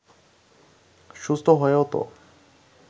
সুস্থ হয়েও তো